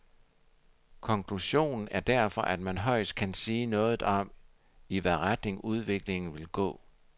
Konklusionen er derfor, at man højst kan sige noget om, i hvad retning udviklingen vil gå.